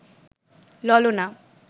ললনা